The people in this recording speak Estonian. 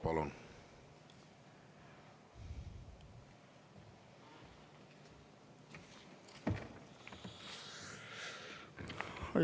Palun!